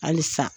Halisa